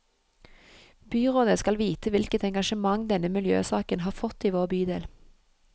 Byrådet skal vite hvilket engasjement denne miljøsaken har fått i vår bydel.